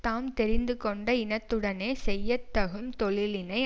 தாம் தெரிந்து கொண்ட இனத்துடனே செய்ய தகும் தொழிலினை